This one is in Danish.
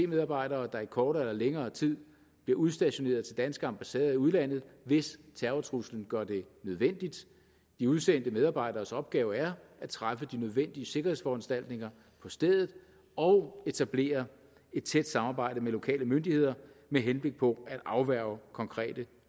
medarbejdere der i kortere eller længere tid bliver udstationeret til danske ambassader i udlandet hvis terrortruslen gør det nødvendigt de udsendte medarbejderes opgave er at træffe de nødvendige sikkerhedsforanstaltninger på stedet og etablere et tæt samarbejde med lokale myndigheder med henblik på at afværge konkrete